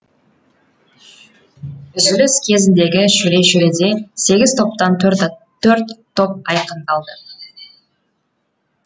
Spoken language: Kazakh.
үзіліс кезіндегі шөре шөреде сегіз топтан төрт топ айқындалды